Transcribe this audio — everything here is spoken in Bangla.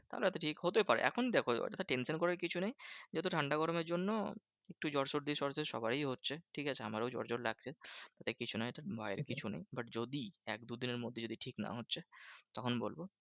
তাহলে হয়তো ঠিক হতে পারে এখন দেখো tension করার কিছু নেই। যেহেতু ঠান্ডা গরমের জন্য একটু জ্বর সর্দি সবারই হচ্ছে, ঠিকাছে? আমারও জ্বর জ্বর লাগছে। এটা কিছু নয় এটা ভয়ের কিছু নেই। but যদি এক দু দিনের মধ্যে যদি ঠিক না হচ্ছে, তখন বলবো